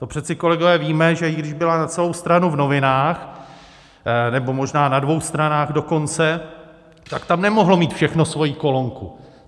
To přeci, kolegové, víme, že i když byla na celou stranu v novinách, nebo možná na dvou stranách dokonce, tak tam nemohlo mít všechno svoji kolonku.